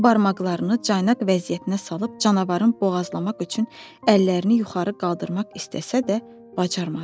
O barmaqlarını caynaq vəziyyətinə salıb canavarın boğazlamaq üçün əllərini yuxarı qaldırmaq istəsə də, bacarmadı.